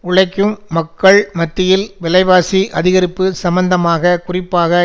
உழைக்கும் மக்கள் மத்தியில் விலைவாசி அதிகரிப்பு சம்பந்தமாக குறிப்பாக